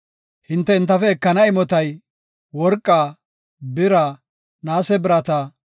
Hinte entafe ekana imotay, worqaa, bira, naase birata,